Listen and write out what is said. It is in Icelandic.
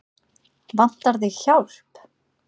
Vantar þig hjálp?